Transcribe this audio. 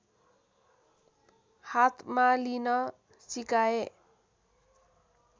हातमा लिन सिकाए